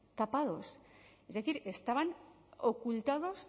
tapados es decir estaban ocultos